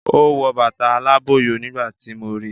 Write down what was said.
O wọ bàtà alábọ̀yọ nígbà tíì mo rí